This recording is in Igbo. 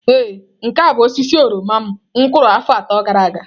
Ee nke a bụ osisi oroma m kụrụ afọ atọ gara aga.